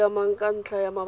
siamang ka ntlha ya mabaka